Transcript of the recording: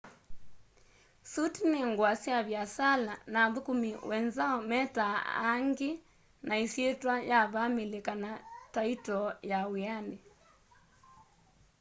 suti ni ngua sya viasala na athukumi wenzao metaa aangi na isyitwa ya vamili kana taitoo ya wiani